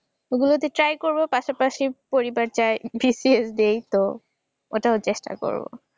ওইগুলাতে try করব পাশাপাশি পরিবার চায় BCS দেই তো ওটাও চেষ্টা করব।